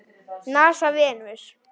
NASA- Venus.